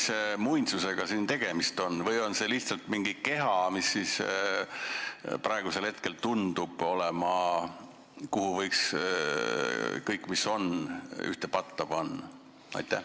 –, mis muinsusega siin tegemist on või on see lihtsalt mingi keha, mis praegusel hetkel tundub olemas olevat, kuhu võib kõik, mis on, ühte patta panna?